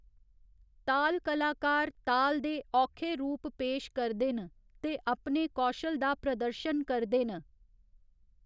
तालकलाकार ताल दे औखे रूप पेश करदे न ते अपने कौशल दा प्रदर्शन करदे न।